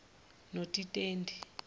notitendi